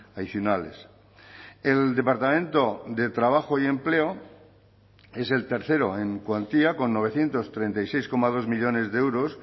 adicionales el departamento de trabajo y empleo es el tercero en cuantía con novecientos treinta y seis coma dos millónes de euros